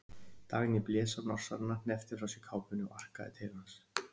Dagný blés á Norsarana, hneppti frá sér kápunni og arkaði til hans.